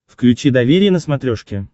включи доверие на смотрешке